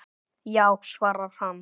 Já svarar hann.